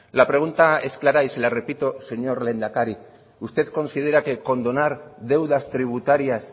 la pregunta es clara y se la repito señor lehendakari usted considera que condonar deudas tributarias